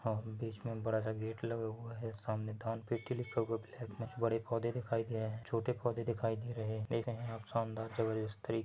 होर्न बीच मे बडा स गेट लग हुआ है सामने दान पेटी लिखा हुआ है ब्लेक मे बडे पौधे दिखयी दे रहे है छोटे पौधे दिखयी दे रहे है संदार जबरदस्त